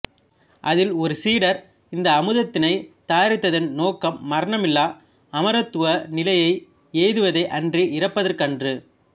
அதில் ஒரு சீடர் இந்த அமுதத்தினை தயாரித்ததன் நோக்கம் மரணமில்லா அமரத்துவ நிலையை எய்துவதே அன்றி இரப்பதற்கன்று